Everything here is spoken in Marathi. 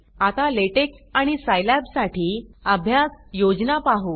आता लॅटेक्स आणि सायलैब साठी अभ्यास योजना पाहू